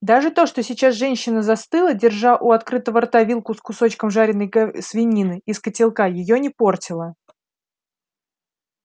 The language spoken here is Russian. даже то что сейчас женщина застыла держа у открытого рта вилку с кусочком жареной свинины из котелка её не портило